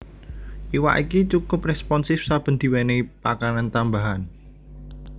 Iwak iki cukup responsif saben diwenehi pakanan tambahan